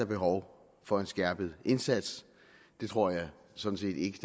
behov for en skærpet indsats det tror jeg sådan set ikke